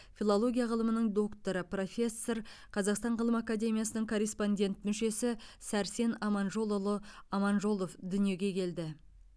филология ғылымының докторы профессор қазақстан ғылым академиясының корреспондент мүшесі сәрсен аманжолұлы аманжолов дүниеге келді